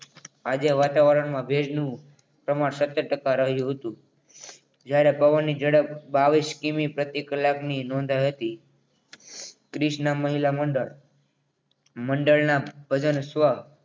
આજે વાતાવરણમાં ભેજનું પ્રમાણ સતર ટકા રહ્યું હતું જ્યારે પવનની ઝડપ બાવીશ કિમી પ્રતિ કલાકની નોંધાઈ હતી ક્રિષ્ના મહિલા મંડળ મંડળના ભજન સ્વ